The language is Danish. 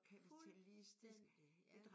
Fuldstændigt ja